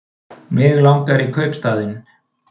Mig langar í kaupstaðinn.